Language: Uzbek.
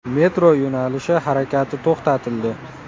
Metro yo‘nalishi harakati to‘xtatildi.